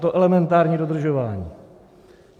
To elementární dodržování.